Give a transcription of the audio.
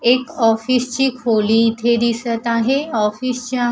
एक ऑफिस ची खोली इथे दिसत आहे ऑफिस च्या--